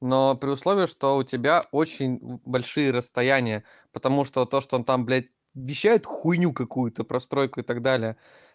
но при условии что у тебя очень большие расстояния потому что то что там блядь вещает хуйню какую-то про стройку и так далее